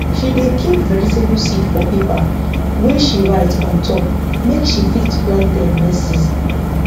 she dey keep vegetable seed for paper wey she write on top make she fit plant dem next season